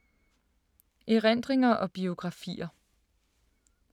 Erindringer og biografier